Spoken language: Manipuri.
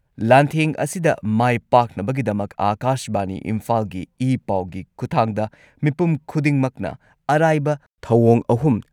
ꯂꯥꯟꯊꯦꯡ ꯑꯁꯤꯗ ꯃꯥꯏ ꯄꯥꯛꯅꯕꯒꯤꯗꯃꯛ ꯑꯥꯀꯥꯁꯕꯥꯅꯤ ꯏꯝꯐꯥꯜꯒꯤ ꯏ ꯄꯥꯎꯒꯤ ꯈꯨꯊꯥꯡꯗ ꯃꯤꯄꯨꯝ ꯈꯨꯗꯤꯡꯃꯛꯅ ꯑꯔꯥꯏꯕ ꯊꯧꯑꯣꯡ ꯑꯍꯨꯝ